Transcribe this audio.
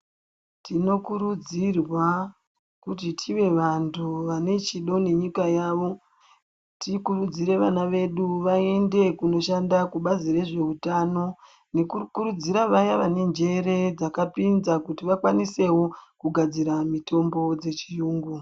Tinokurudzirwa kuti tiwe vanhu vane chido nenyika yawo tikurudzire vana vedu vaende kunoshanda kubazi rezvehutano nekukurudzira vane njere dzakapinza kuti vakwanisewo kugadzira mitombo yechiyungu.